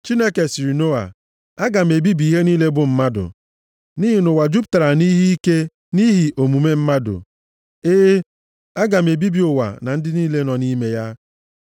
Chineke sịrị Noa, “Aga m ebibi ihe niile bụ mmadụ, nʼihi na ụwa jupụtara nʼihe ike nʼihi omume mmadụ. E e, aga m ebibi ụwa na ndị niile nọ nʼime ya.